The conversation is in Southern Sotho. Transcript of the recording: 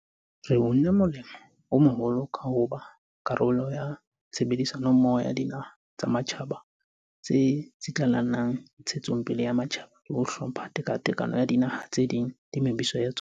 Re unne molemo o moholo ka ho ba karolo ya tshebedi sanommoho ya dinaha tsa matjhaba tse tsitlallelang ntshetso pele ya matjhaba le ho hlompha tekatekano ya dinaha tse ding le mebuso ya tsona.